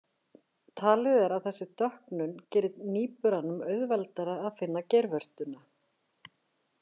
Talið er að þessi dökknun geri nýburanum auðveldara að finna geirvörtuna.